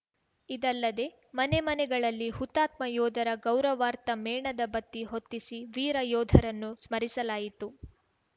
ಇದಲ್ಲದೆ ಮನೆ ಮನೆಗಳಲ್ಲಿ ಹುತಾತ್ಮ ಯೋಧರ ಗೌರವಾರ್ಥ ಮೇಣದ ಬತ್ತಿ ಹೊತ್ತಿಸಿ ವೀರ ಯೋಧರನ್ನು ಸ್ಮರಿಸಲಾಯಿತು